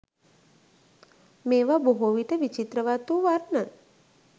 මේවා බොහෝවිට විචිත්‍රවත් වූ වර්ණ